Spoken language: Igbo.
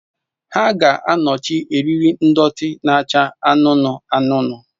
Ha ga-anọchi eriri ndọtị na-acha anụnụ anụnụ.